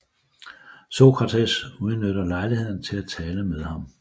Sokrates udnytter lejligheden til at tale med ham